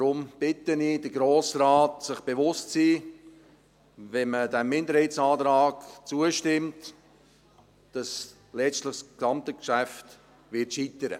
Deshalb bitte ich den Grossen Rat, sich bewusst zu sein, dass letztlich das ganze Geschäft scheitern wird, wenn man diesem Minderheitsantrag zustimmt.